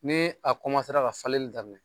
Ne a ka falenni daminɛ